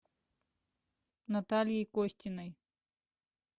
натальей костиной